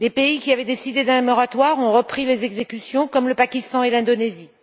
Des pays qui avaient décidé d'un moratoire ont repris les exécutions, comme le Pakistan et l'Indonésie.